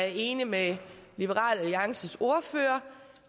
enig med liberal alliances ordfører